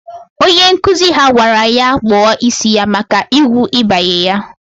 Onye nkụzi ha gwara ya kpọ isi ya maka igwu ibanye ya!